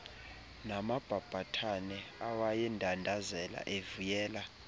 namabhabhathane awayendandazela evuyela